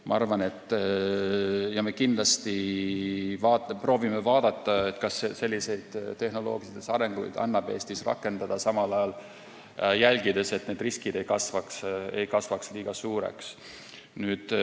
Me proovime kindlasti vaadata, kas selliseid tehnoloogilisi arendusi annab Eestis rakendada, samal ajal jälgides, et riskid ei kasvaks liiga suureks.